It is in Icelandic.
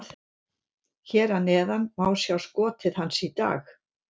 Hér að neðan má sjá skotið hans í dag: